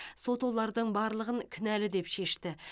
сот олардың барлығын кінәлі деп шешті